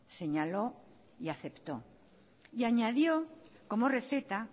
señaló y aceptó y añadió como receta